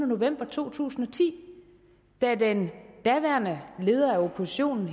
november to tusind og ti da den daværende leder af oppositionen